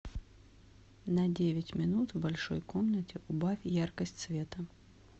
на девять минут в большой комнате убавь яркость света